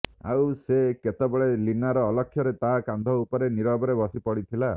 ଆଉ ସେ କେତେବେଳେ ଲୀନାର ଅଲକ୍ଷ୍ୟରେ ତା କାନ୍ଧ ଉପରେ ନୀରବରେ ବସିପଡିଥିଲା